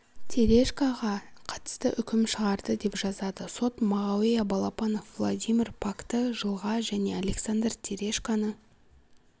терешкоға қатысты үкім шығарды деп жазады сот мағауя балапанов владимир пакты жылға және александр терешконы